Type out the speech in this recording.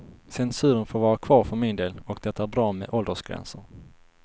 Censuren får vara kvar för min del och det är bra med åldersgränser.